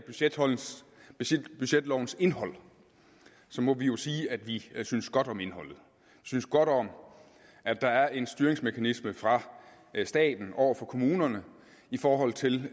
budgetlovens indhold må vi jo sige at vi synes godt om indholdet vi synes godt om at der er en styringsmekanisme fra staten over for kommunerne i forhold til